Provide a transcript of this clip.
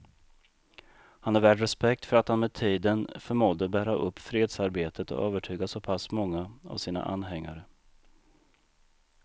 Han är värd respekt för att han med tiden förmådde bära upp fredsarbetet och övertyga så pass många av sina anhängare.